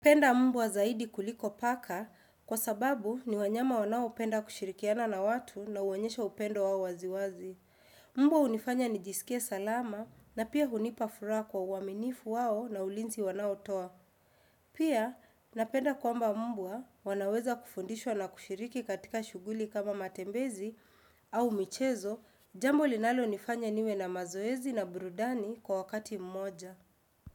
Penda mbwa zaidi kuliko paka kwa sababu ni wanyama wanaopenda kushirikiana na watu na huonyesha upendo wao waziwazi. Mbawa unifanya ni jisikie salama na pia hunipa furaha kwa uaminifu wao na ulinzi wanao toa. Pia, napenda kwamba mbwa wanaweza kufundishwa na kushiriki katika shughuli kama matembezi au michezo, jambo linalo nifanya niwe na mazoezi na brudani kwa wakati mmoja.